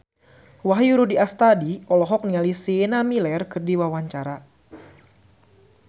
Wahyu Rudi Astadi olohok ningali Sienna Miller keur diwawancara